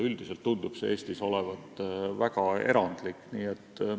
Üldiselt tundub see Eestis olevat väga erandlik.